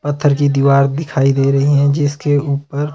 पत्थर की दीवार दिखाई दे रही हैं जिसके ऊपर--